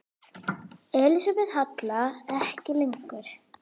Elísabet Hall: En ekki lengur?